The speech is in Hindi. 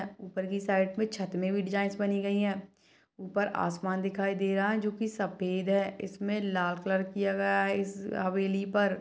--ऊपर की साइड मे छत पे भी डिजाइन बनी गई है ऊपर आसमान दिखाई दे रहा है जो की सफेद है इसमे लाल कलर किया गया है इस हवेली पर--